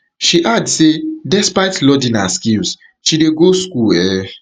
she add say despite lordina skills she dey go school um